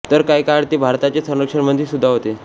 तर काही काळ ते भारताचे संरक्षणमंत्री सुद्धा होते